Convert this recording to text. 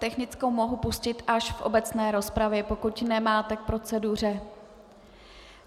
Technickou mohu pustit až v obecné rozpravě, pokud nemáte k proceduře.